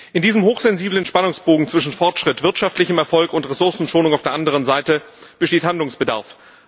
In diesem hochsensiblen Spannungsbogen zwischen Fortschritt, wirtschaftlichem Erfolg und Ressourcenschonung auf der anderen Seite besteht Handlungsbedarf.